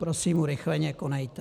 Prosím, urychleně konejte!